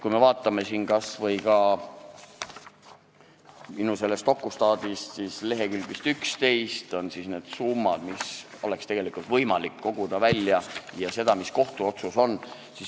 Kui me vaatame kas või minu dokustaati, siis leheküljel 11 vist on need summad, mis oleks tegelikult võimalik koguda ja mõista välja kohtuotsusega.